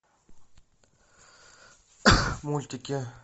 мультики